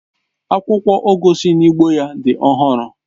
Akwụkwọ ugu si n'ugbo ya dị ọhụrụ